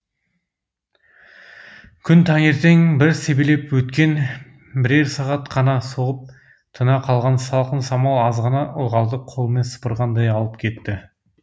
күн таңертең бір себелеп өткен бірер сағат қана соғып тына қалған салқын самал азғана ылғалды қолмен сыпырғандай алып кетті